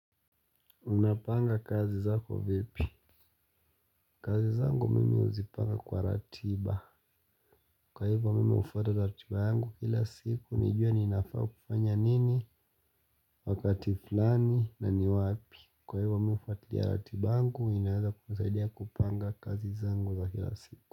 Unapanga kazi zako vipi? Kazi zangu mimi uzipanga kwa ratiba. Kwa hivyo mimi hufata ratiba yangu kila siku. Nijue ninafaa kufanya nini, wakati fulani na ni wapi. Kwa hivyo mimi ufatilia ratiba yangu ninaweza kusaidia kupanga kazi zangu za kila siku.